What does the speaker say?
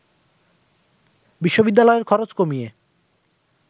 বিশ্ববিদ্যালয়ের খরচ কমিয়ে